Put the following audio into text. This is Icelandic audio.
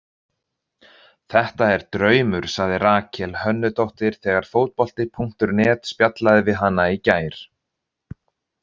Þetta er draumur, sagði Rakel Hönnudóttir þegar Fótbolti.net spjallaði við hana í gær.